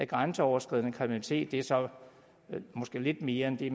grænseoverskridende kriminalitet det er så måske lidt mere end det